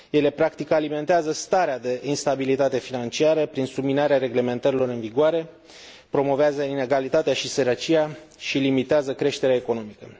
Practic, ele alimentează starea de instabilitate financiară prin subminarea reglementărilor în vigoare, promovează inegalitatea și sărăcia și limitează creșterea economică.